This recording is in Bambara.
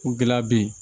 Ko gɛlɛya be yen